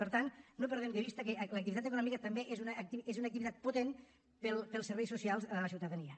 per tant no perdem de vista que l’activitat econòmica també és una activitat potent per als serveis socials a la ciutadania